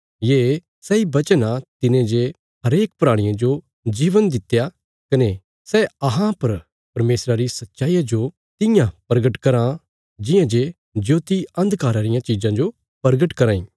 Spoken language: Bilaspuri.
ये सैई वचन आ तिने जे हरेक प्राणिये जो जीवन दित्या कने सै अहां पर परमेशरा रिया सच्चाईया जो तियां प्रगट कराँ जियां जे ज्योति अन्धकारा रियां चिज़ां जो प्रगट कराँ इ